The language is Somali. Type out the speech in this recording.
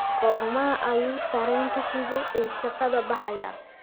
Goorma ayuu tareenka xiga ee shaqada baxayaa?